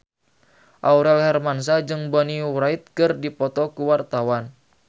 Aurel Hermansyah jeung Bonnie Wright keur dipoto ku wartawan